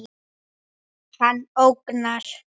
Hann ógnar.